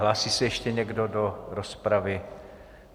Hlásí se ještě někdo do rozpravy?